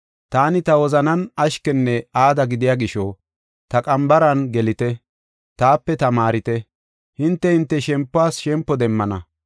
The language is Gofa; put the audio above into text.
Taani ta wozanan ashkenne aada gidiya gisho, ta qambaran gelite, taape tamaarite; hinte, hinte shempuwas shempo demmana.